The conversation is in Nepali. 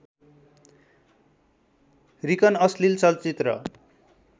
रिकन अश्लिल चलचित्र